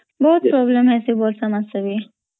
ବହୁତ୍ problem ହାଇସୀ ବର୍ଷା ମାସ ରେ